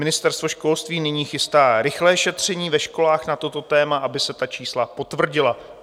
Ministerstvo školství nyní chystá rychlé šetření ve školách na toto téma, aby se ta čísla potvrdila.